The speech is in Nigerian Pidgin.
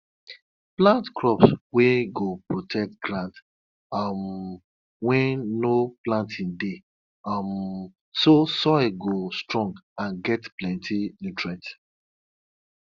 them wear red bead for sheep wey them use take do sacrifice as per say na one of our culture for animal ritual.